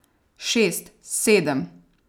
Šest, sedem.